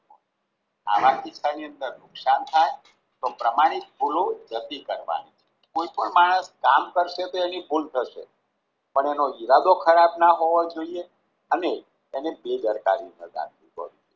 આવા કિસ્સાની અંદર નુકસાન થાય તો પ્રમાણિક ભૂલો જતી કરવાની કોઈ પણ માણસ કામ કરશે તો એની ભૂલ થશે પણ એનો ઈરાદો ખરાબ ના હોવો જોઈએ અને એને બેદરકારી ન રાખી હોય